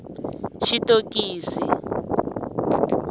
xitokisi